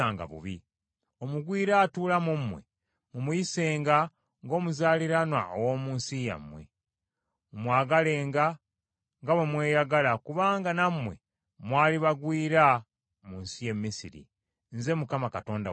Omugwira atuula mu mmwe mumuyisenga ng’omuzaaliranwa ow’omu nsi yammwe. Mumwagalenga nga bwe mweyagala, kubanga nammwe mwali bagwira mu nsi y’e Misiri. Nze Mukama Katonda wammwe.